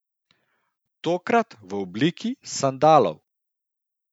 Tokrat v obliki sandalov?